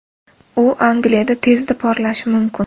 U Angliyada tezda porlashi mumkin.